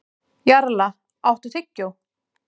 Jarla, áttu tyggjó?